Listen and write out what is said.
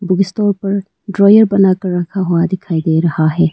जिसके ऊपर ड्रावर बनाकर रखा हुआ दिखाई दे रहा है।